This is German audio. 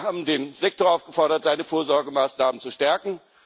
Wir haben den Sektor aufgefordert, seine Vorsorgemaßnahmen zu stärken.